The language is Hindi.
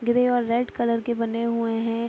ग्रे और रेड कलर के बने हुए हैं।